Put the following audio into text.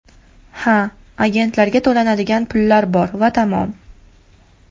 Ha, agentga to‘lanadigan pullar bor va tamom.